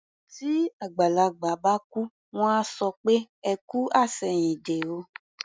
Tí àgbàlagbà bá kú, wọ́n á sọ pé "ẹ kú àṣẹ̀yìndé o".